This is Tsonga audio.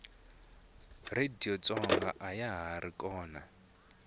radiyo tsonga ayahari kona